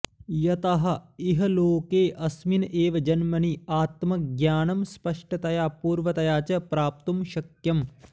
यतः इहलोके अस्मिन् एव जन्मनि आत्मज्ञानं स्पष्टतया पूर्णतया च प्राप्तुं शक्यम्